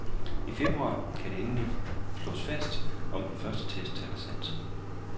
I februar kan det endeligt slås fast, om den første test taler sandt.